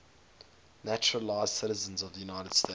naturalized citizens of the united states